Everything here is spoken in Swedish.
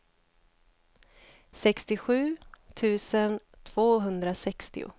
sextiosju tusen tvåhundrasextio